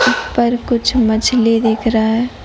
ऊपर कुछ मछली दिख रहा है।